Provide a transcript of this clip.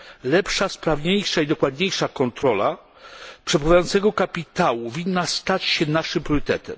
Lepsza, sprawniejsza i dokładniejsza kontrola przepływającego kapitału winna stać się naszym priorytetem.